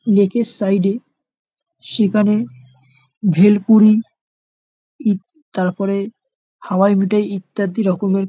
Lake -এর side -এ। সেখানে ভেলপুরি উম তারপরে হাওয়াই মিঠাই ইত্যাদি রকমের --